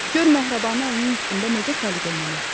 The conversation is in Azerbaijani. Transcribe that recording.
Gör Məhribanı əlinin üstündə necə səliqəylə asıb.